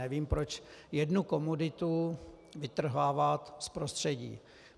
Nevím, proč jednu komoditu vytrhávat z prostředí.